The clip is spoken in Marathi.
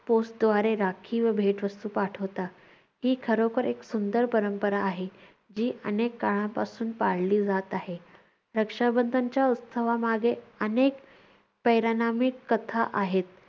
पोस्टद्वारे राखी व भेटवस्तू पाठवतात. ती खरोखर एक सुंदर परंपरा आहे. जी अनेक काळापासून पाळली जात आहे. रक्षाबंधनच्या उत्सवामागे अनेक कथा आहेत.